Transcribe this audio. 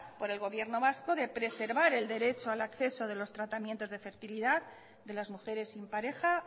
por el gobierno vasco de preservar el derecho de acceso de los tratamientos de fertilidad de las mujeres sin pareja